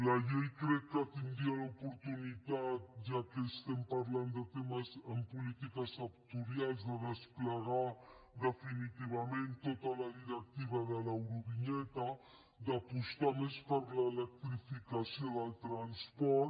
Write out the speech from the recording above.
la llei crec que tindria l’oportunitat ja que estem parlant de temes en polítiques sectorials de desplegar definitivament tota la directiva de l’eurovinyeta d’apostar més per l’electrificació del transport